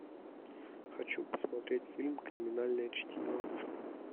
хочу посмотреть фильм криминальное чтиво